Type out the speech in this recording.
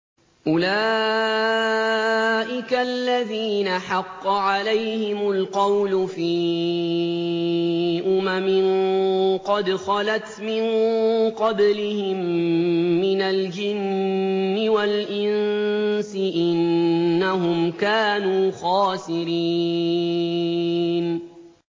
أُولَٰئِكَ الَّذِينَ حَقَّ عَلَيْهِمُ الْقَوْلُ فِي أُمَمٍ قَدْ خَلَتْ مِن قَبْلِهِم مِّنَ الْجِنِّ وَالْإِنسِ ۖ إِنَّهُمْ كَانُوا خَاسِرِينَ